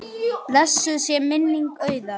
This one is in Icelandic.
Blessuð sé minning Auðar.